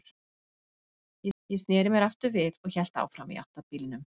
Ég sneri mér aftur við og hélt áfram í átt að bílnum.